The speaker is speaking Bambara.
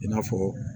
I n'a fɔ